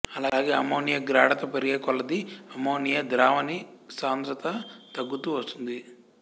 అలాగే అమ్మోనియా గాఢత పెరిగే కొలది అమ్మోనియా ద్రావణిసాంద్రత తగ్గుతూ వస్తుంది